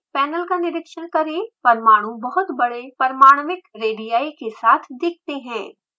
panel का निरिक्षण करें परमाणु बहुत बड़े परमाण्विक रेडिआई के साथ दिखते हैं